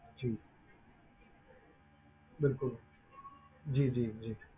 ਜੀ ਬਿਲਕੁਲ ਜੀ ਜੀ ਜੀ।